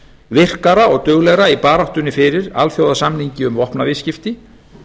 virkara og duglegra í baráttunni fyrir alþjóðasamningi um vopnaviðskipti